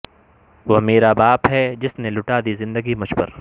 وہ میرا باپ ہے جس نے لٹادی زندگی مجھ پر